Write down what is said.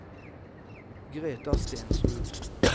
Greta Stensrud